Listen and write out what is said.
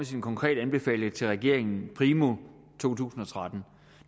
sine konkrete anbefalinger til regeringen primo to tusind og tretten